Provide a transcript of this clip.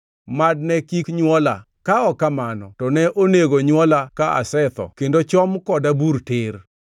Mad ne kik nywola, ka ok kamano to ne onego nywola ka asetho kendo chom koda bur tir!